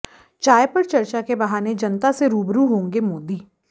चाय पर चर्चा के बहाने जनता से रूबरू होंगे मोदी